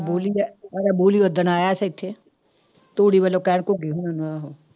ਬੋਲੀ ਦੇ ਉਹ ਬੋਲੀ ਉੱਦਣ ਆਇਆ ਸੀ ਇੱਥੇ, ਤੂੜੀ ਵੱਲੋਂ ਕਹਿਣ ਘੁੱਗੀ ਹੋਣਾਂ ਨੂੰ ਆਹੋ